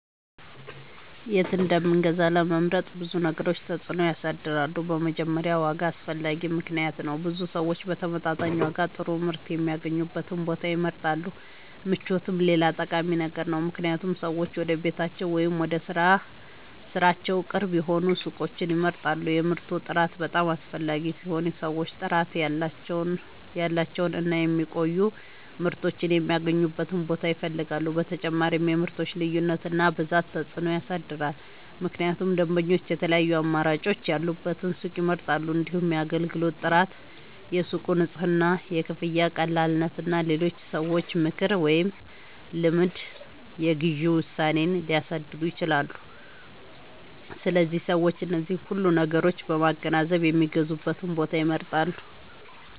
የት እንደምንገዛ ለመምረጥ ብዙ ነገሮች ተጽዕኖ ያሳድራሉ። በመጀመሪያ ዋጋ አስፈላጊ ምክንያት ነው፤ ብዙ ሰዎች በተመጣጣኝ ዋጋ ጥሩ ምርት የሚያገኙበትን ቦታ ይመርጣሉ። ምቾትም ሌላ ጠቃሚ ነገር ነው፣ ምክንያቱም ሰዎች ወደ ቤታቸው ወይም ወደ ሥራቸው ቅርብ የሆኑ ሱቆችን ይመርጣሉ። የምርቱ ጥራት በጣም አስፈላጊ ሲሆን ሰዎች ጥራት ያላቸውን እና የሚቆዩ ምርቶችን የሚያገኙበትን ቦታ ይፈልጋሉ። በተጨማሪም የምርቶች ልዩነት እና ብዛት ተጽዕኖ ያሳድራል፣ ምክንያቱም ደንበኞች የተለያዩ አማራጮች ያሉበትን ሱቅ ይመርጣሉ። እንዲሁም የአገልግሎት ጥራት፣ የሱቁ ንጽህና፣ የክፍያ ቀላልነት እና የሌሎች ሰዎች ምክር ወይም ልምድ የግዢ ውሳኔን ሊያሳድሩ ይችላሉ። ስለዚህ ሰዎች እነዚህን ሁሉ ነገሮች በማገናዘብ የሚገዙበትን ቦታ ይመርጣሉ።